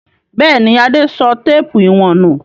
Bẹ́ẹ̀ ni, Adé sọ téépù ìwọ̀n nù.